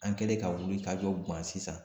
An kɛlen ka wuli ka jɔ gan sisan